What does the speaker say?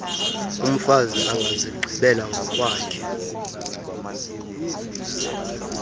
umfazi angazigqibela ngokwakhe